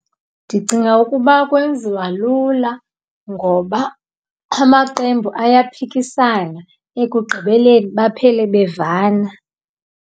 Ndicinga ukuba kwenziwa lula ngoba amaqembu ayaphikisana ekugqibeleni baphele bevana.